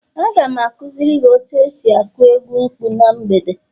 Aga m akuziri gi otu esi aku egwu mkpu na mgbede